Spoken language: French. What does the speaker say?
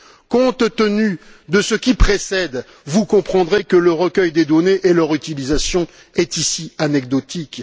Compte tenu de ce qui précède, vous comprendrez que la collecte des données et leur utilisation sont ici anecdotiques.